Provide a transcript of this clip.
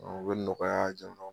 O be nɔgɔya jama